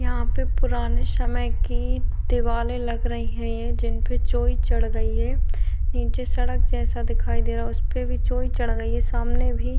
यहाँ पे पुराने समय की दीवाले लग रही है। यह जिनपे जि चोई चढ़ गई है नीचे सड़क जैसा दिखाई दे रहा है उनपे भी चोई चढ़ गई है सामने भी --